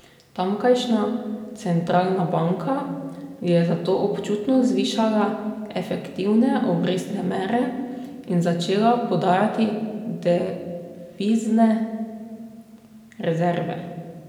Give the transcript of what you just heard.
Tamkajšnja centralna banka je zato občutno zvišala efektivne obrestne mere in začela prodajati devizne rezerve.